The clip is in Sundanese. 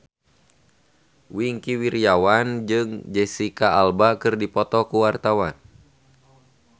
Wingky Wiryawan jeung Jesicca Alba keur dipoto ku wartawan